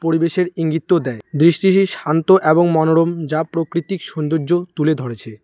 পরিবেশের ইঙ্গিতও দেয়। দৃষ্টিটি শান্ত এবং মনোরম যা প্রকৃতিক সৌন্দর্য তুলে ধরেছে।